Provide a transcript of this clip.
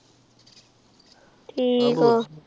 ਠੀਕ ਆਹ